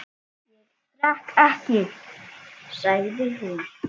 Ég drekk ekki, sagði hún.